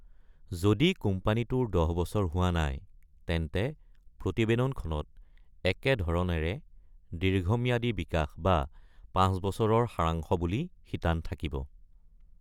যদি কোম্পানীটোৰ দহ বছৰ হোৱা নাই, তেন্তে প্ৰতিবেদনখনত একেধৰণৰে "দীৰ্ঘম্যাদী বিকাশ" বা "পাঁচ বছৰৰ সাৰাংশ" বুলি শিতান থাকিব।